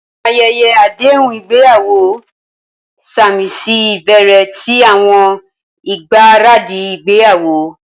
Awọn ayẹyẹ adehun igbeyawo samisi ibẹrẹ ti awọn igbaradi igbeyawo.